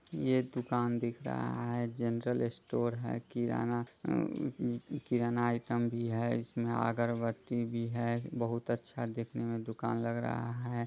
ये एक दूकान दिख रहा है जनरल स्टोर हैकिराना किराना आइटम भी है इसमें अगरबत्ती भी है बहुत अच्छा देखने मे दूकान लग रहा है।